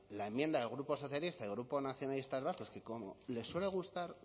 la enmienda del grupo socialista el grupo nacionalistas vascos que como les suele gustar